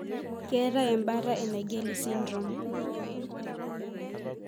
Ketae embata e Naegeli syndrome?